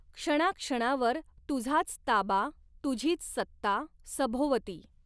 क्षणाक्षणावर, तुझाच ताबा, तुझीच सत्ता, सभोवती